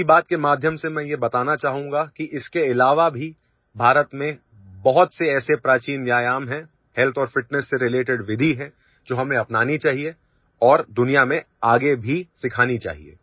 मन की बात के माध्यम से मैं यह बताना चाहूंगा कि इसके अलावा भी भारत में बहुत से ऐसे प्राचीन व्यायाम है हेल्थ और फिटनेस से रिलेटेड विधि है जो हमें अपनानी चाहिए और दुनिया में आगे भी सिखानी चाहिए